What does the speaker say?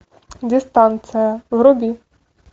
дистанция вруби